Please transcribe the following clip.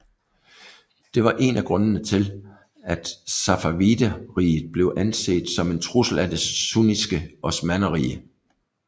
Det var én af grundene til at Safavideriget blev anset som en trussel af det sunnitiske Osmannerrige